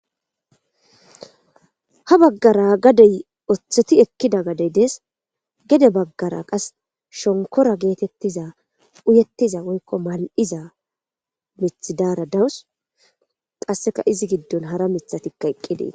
Ha bagara gadey otheti ekida gaday des gede bagara qasi shonkora getetiza uyetiza woyiko maliza mithi dara dawus qaseka izi gidon hara mithatika eqi detes.